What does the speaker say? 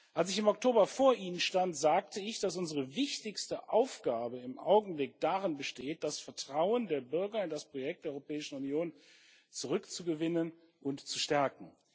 Als ich im Oktober vor Ihnen stand, sagte ich, dass unsere wichtigste Aufgabe im Augenblick darin besteht, das Vertrauen der Bürger in das Projekt der Europäischen Union zurückzugewinnen und zu stärken.